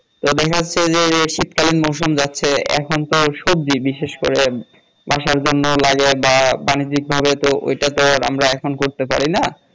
তো দেখা যাচ্ছে যে শীত কালীন মৌসুম যাচ্ছে এখন তো সবজি বিশেষ করে বাসার জন্য লাগে বা বানিজ্যিক ভাবে তো এটা তো আর আমরা এখন করতে পারি না